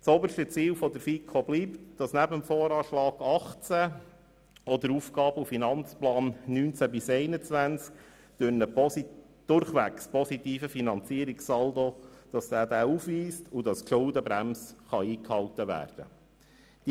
Das oberste Ziel der FiKo bleibt, dass neben dem VA 2018 auch der AFP 2019– 2021 einen durchwegs positiven Finanzierungssaldo aufweist, und dass die Schuldenbremse eingehalten werden kann.